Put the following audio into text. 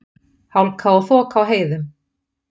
Hálka og þoka á heiðum